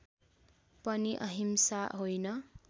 पनि अहिंसा होइन